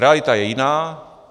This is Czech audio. Realita je jiná.